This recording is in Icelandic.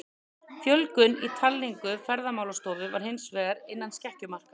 Fjölgun í talningu Ferðamálastofu var hins vegar innan skekkjumarka.